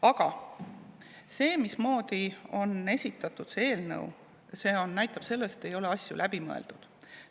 Aga see, mismoodi on esitatud see eelnõu, näitab, et asju ei ole läbi mõeldud.